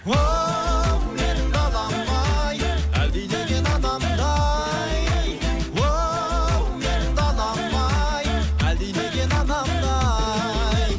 оу менің далам ай әлдилеген анамдай оу менің далам ай әлдилеген анамдай